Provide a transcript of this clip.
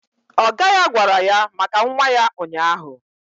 Ọga ya gwara ya maka nwa ya ụnyaahụ